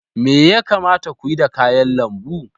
Me ya kamata ku yi da kayan lambu?